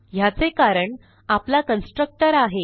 ह्याचे कारण आपला कन्स्ट्रक्टर आहे